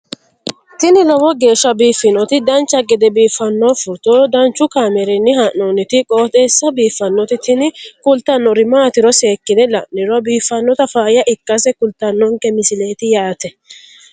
tini lowo geeshsha biiffannoti dancha gede biiffanno footo danchu kaameerinni haa'noonniti qooxeessa biiffannoti tini kultannori maatiro seekkine la'niro biiffannota faayya ikkase kultannoke misileeti yaate